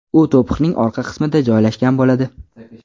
U to‘piqning orqa qismida joylashgan bo‘ladi.